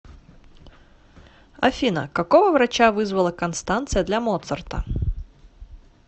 афина какого врача вызвала констанция для моцарта